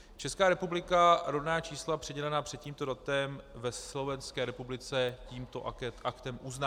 Česká republika rodná čísla přidělená před tím datem ve Slovenské republice tímto aktem uzná.